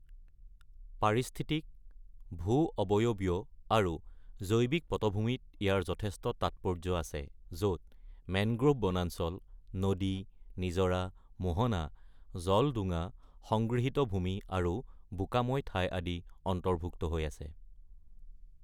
পাৰিস্থিতিক, ভূ-অৱয়বীয় আৰু জৈৱিক পটভূমিত ইয়াৰ যথেষ্ট তাৎপৰ্য্য আছে, য'ত মেংগ্ৰোভ বনাঞ্চল, নদী, নিজৰা, মোহনা, জলডোঙা, সংগৃহীত ভূমি, আৰু বোকাময় ঠাই আদি অন্তৰ্ভুক্ত হৈ আছে।